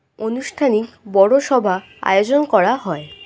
অনুষ্ঠানিক বড়ো সভা আয়োজন করা হয়।